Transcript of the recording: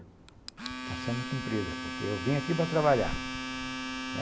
Está sendo cumprida, porque eu vim aqui para trabalhar.